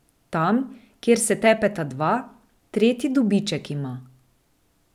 Tam, kjer se tepeta dva, tretji dobiček ima.